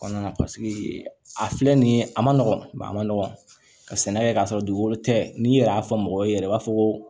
Kɔnɔna na a filɛ nin ye a ma nɔgɔn a ma nɔgɔ ka sɛnɛ kɛ k'a sɔrɔ dugukolo tɛ n'i yɛrɛ y'a fɔ mɔgɔ ye yɛrɛ i b'a fɔ ko